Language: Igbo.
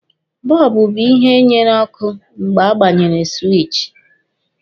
Bọlbụ bụ ihe nyere ọkụ mgbe a gbanyere siwichi.